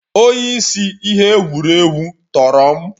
Onye isi ihe egwuregwu tọrọ m